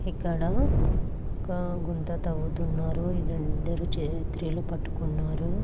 ఇక్కడ ఒక గుంత తవ్వుతున్నారు. వీళ్ళందరూ చైత్రీలు పట్టుకున్నారు.